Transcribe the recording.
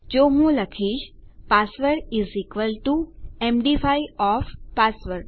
તો હું લખીશ password is equal to MD five of password